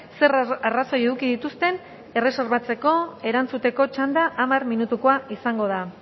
zer arrazoi eduki dituzten erreserbatzeko erantzuteko txanda hamar minutukoa izango da